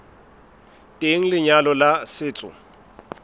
teng ha lenyalo la setso